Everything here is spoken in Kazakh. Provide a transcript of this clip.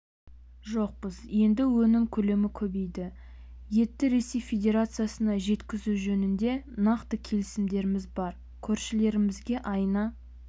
жоқпыз енді өнім көлемі көбейді етті ресей федерациясына жеткізу жөнінде нақты келісімдеріміз бар көршілерімізге айына